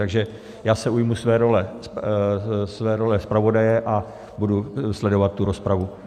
Takže já se ujmu své role zpravodaje a budu sledovat tu rozpravu.